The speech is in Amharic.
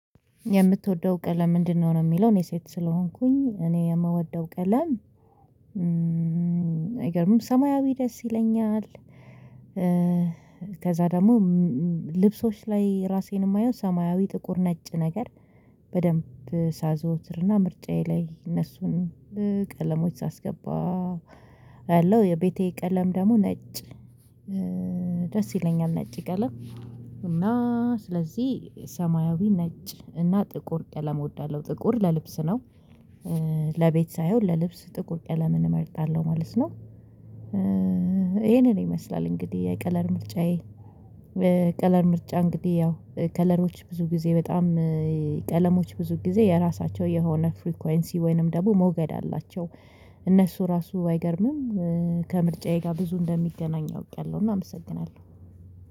የምትወደው ቀለም ምንድነው? ነው የሚለው እኔ ሴት ስለሆንኩኝ እኔ የምወደው ቀለም እ አይገርምም ሰማያዊ ደስ ይለኛል። ኧ ከዛ ደሞ ም እ እ ልብሶች ላይ ራሴን እማየው ሰማያዊ ጥቁር ነጭ ነገር በደንብ ሳዘወትርና ምርጫዬ ላይ እነሱን ኧ ቀለሞች ሳስገባ ያለው የቤቴ ቀለም ደግሞ ነጭ ደስ ይለኛል። ነጭ ቀለም እና ስለዚህ ሰማያዊ ነጭ እና ጥቁር ቀለም እወዳለሁ። ጥቁር ለልብስ ነው ኧ ለቤት ሳይሆን ለልብስ ጥቁር ቀለምን እመርጣለሁ ማለት ነው። ኧ ይሄንን ይመስላል እንግዲህ የቀለር ምርጫዬ ኧ ቀለም ምርጫ እንግዲህ ያው ከለሮች ብዙ ጊዜ በጣም ቀለሞች ብዙ ጊዜ የራሳቸው የሆነ ፍሪኮንሲ ወይንም ደግሞ ሞገድ አላቸው። እነሱ ራሱ አይገርምም ኧ ከምርጫዬ ጋ ብዙ እንደሚገናኝ አውቄያለሁ። እና አመሰግናለሁ።